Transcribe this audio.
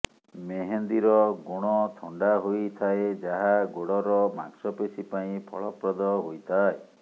ମେହେନ୍ଦୀର ଗୁଣ ଥଣ୍ଡା ହୋଇଥାଏ ଯାହା ଗୋଡ଼ର ମାଂସପେଶୀ ପାଇଁ ଫଳପ୍ରଦ ହୋଇଥାଏ